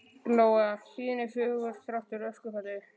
Lóa: Hlíðin er fögur, þrátt fyrir öskufallið?